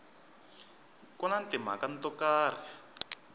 ku na timhaka to karhi